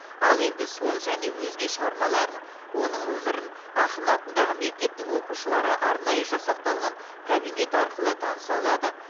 ал енді сол және өзге шығармаларын оның өмірін ақын атындағы мектептің оқушылары арнайы жасақталған кабинет арқылы таныса алады